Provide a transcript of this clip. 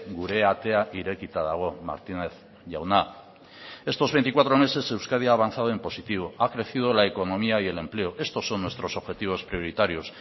gure atea irekita dago martínez jauna estos veinticuatro meses euskadi ha avanzado en positivo ha crecido la economía y el empleo estos son nuestros objetivos prioritarios